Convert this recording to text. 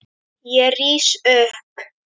Ég rís upp.